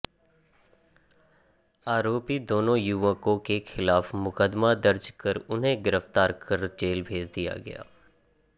आरोपी दोनों युवकों के खिलाफ मुकदमा दर्ज कर उन्हें गिरफ्तार कर जेल भेज दिया गया